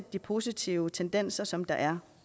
de positive tendenser som der er